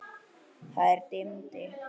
Það dimmdi.